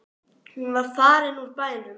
Hún var farin úr bænum.